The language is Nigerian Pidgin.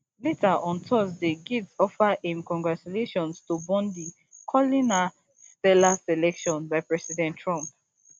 later on thursday gaetz offer im congratulations to bondi calling her stellar selection by president trump